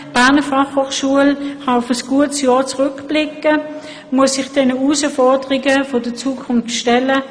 Die Berner Fachhochschule kann auf ein gutes Jahr zurückblicken und muss sich den Herausforderungen der Zukunft stellen.